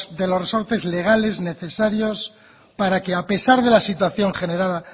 de los resortes legales necesarios para que a pesar de la situación generada